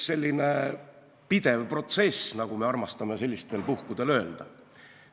See on pidev protsess, nagu me armastame sellistel puhkudel öelda.